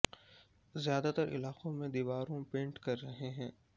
زیادہ تر علاقوں میں دیواروں پینٹ کر رہے ہیں